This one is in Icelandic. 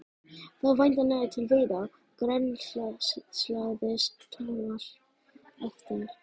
Þá væntanlega til veiða? grennslaðist Thomas eftir.